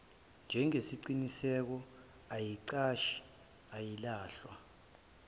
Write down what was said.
njengesiqiniseko ayiqashisi ayilahlwa